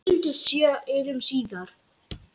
Þau skildu sjö árum síðar.